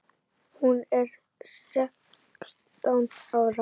Hún er sextán ára.